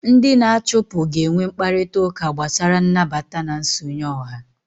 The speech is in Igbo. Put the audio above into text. Ndị na-achụpụ ga-enwe mkparịta ụka gbasara nnabata na nsonye ọha